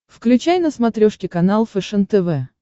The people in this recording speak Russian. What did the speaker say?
включай на смотрешке канал фэшен тв